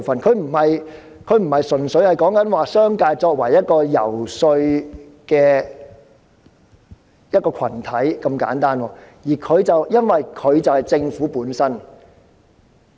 這已不是純粹視商界為一個遊說群體這麼簡單，因為這核心就是政府本身。